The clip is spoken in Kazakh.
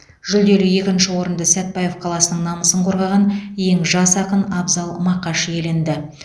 жүлделі екінші орынды сәтбаев қаласының намысын қорғаған ең жас ақын абзал мақаш иеленді